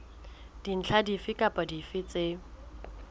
dintlha dife kapa dife tse